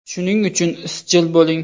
Shuning uchun izchil bo‘ling.